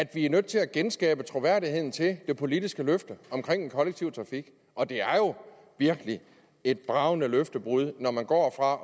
vi er nødt til at genskabe troværdigheden til det politiske løfte om den kollektive trafik og det er jo virkelig et bragende løftebrud når man går fra